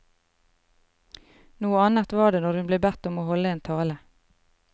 Noe annet var det når hun ble bedt om å holde en tale.